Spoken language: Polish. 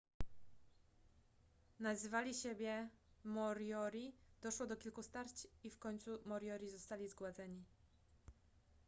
nazywali siebie moriori doszło do kilku starć i w końcu moriori zostali zgładzeni